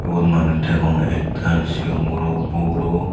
ubot mauns degong ektal siyon guro buro.